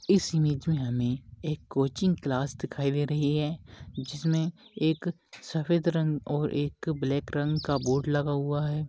इस इमेज मे हमे एक कोचिंग क्लास दिखाई दे रही है जिस मे एक सफेद रंग और एक ब्लैक रंग का बोर्ड लगा हुवा है।